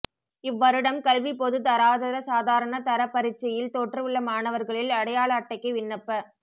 இவ்வருடம் கல்விப் பொதுதராதர சாதாரண தரப் பரீட்சையில் தோற்றவுள்ள மாணவர்களில் அடையாள அட்டைக்கு விண்ணப்ப